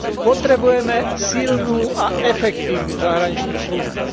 Potrebujeme silnú a efektívnu zahraničnú službu.